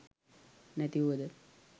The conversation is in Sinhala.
නැති වූවද